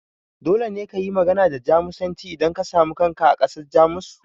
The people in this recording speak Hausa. Dole ne kayi magana da Jamusanci idan ka samu kanka a ƙasar Jamus?